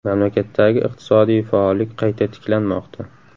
Mamlakatdagi iqtisodiy faollik qayta tiklanmoqda .